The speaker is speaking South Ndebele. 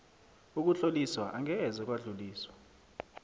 ukutloliswa angeze kwadluliswa